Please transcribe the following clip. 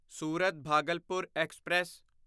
Surat Bhagalpur express